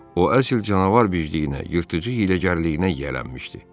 O əsl canavar bicliyinə, yırtıcı hiyləgərliyinə yiyələnmişdi.